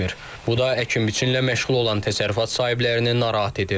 Bu da əkin-biçinlə məşğul olan təsərrüfat sahiblərini narahat edir.